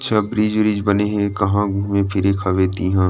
सब bridge वृज बने हे कहा घूमे फिरे के हवय तिहा ।